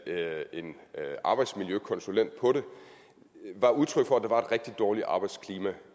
en arbejdsmiljøkonsulent på det var udtryk for at der var et rigtig dårligt arbejdsklima